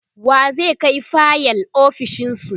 wa zai Kai fayil ofishinsu?